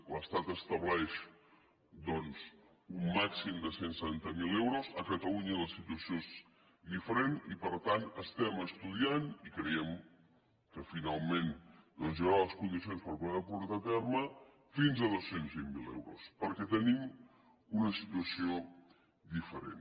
l’estat estableix doncs un màxim de cent i setanta miler euros a catalunya la situació és diferent i per tant ho estem estudiant i creiem que finalment doncs hi haurà les condicions per poderho portar a terme fins a dos cents i vint miler euros perquè tenim una situació diferent